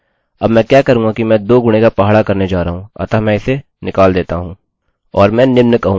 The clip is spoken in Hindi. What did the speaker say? अतः मैं इसे निकाल देता हूँ और मैं निम्न कहूँगा